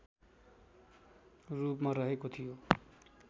रूपमा रहेको थियो